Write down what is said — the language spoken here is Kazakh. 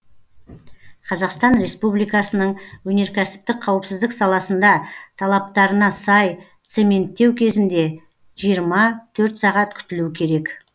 қазақстан республикасының өнеркәсіптік қауіпсіздік саласында талаптарына сай цементтеу кезінде жиырма төрт сағат күтілу керек